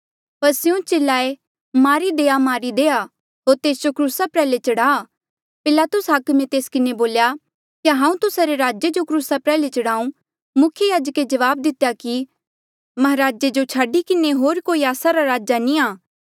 पर स्यों चिल्लाए मारी देआ मारी देआ होर तेस जो क्रूसा प्रयाल्हे चढ़ा पिलातुस हाकमे तेस किन्हें बोल्या क्या हांऊँ तुस्सा रे राजे जो क्रूसा प्रयाल्हे चढ़ाऊं मुख्य याजके जवाब दितेया कि महाराजे जो छाडी किन्हें होर कोई आस्सा रा राजा नी आ